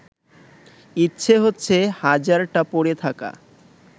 ইচ্ছে হচ্ছে হাজারটা পড়ে থাকা